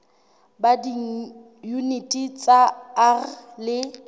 ba diyuniti tsa r le